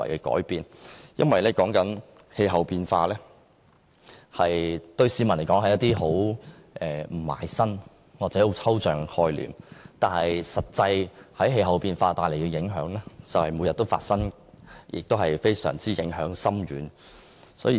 對市民而言，氣候變化是毫不切身或抽象的概念，但氣候變化其實每天都產生實際影響，而且影響非常深遠。